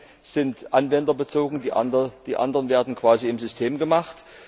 Die einen sind anwenderbezogen, die anderen werden quasi im System gemacht.